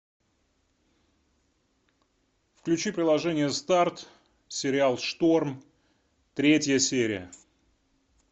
включи приложение старт сериал шторм третья серия